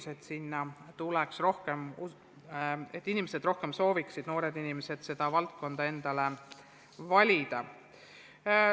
See on laiem küsimus, kuidas saavutada, et sinna tuleks rohkem noori, et noored inimesed valiksid endale selle eriala.